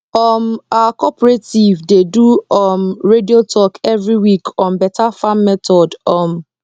um our cooperative dey do um radio talk every week on better farm method um